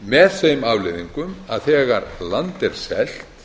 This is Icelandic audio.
með þeim afleiðingum að þegar land er selt